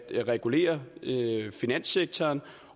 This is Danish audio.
regulere finanssektoren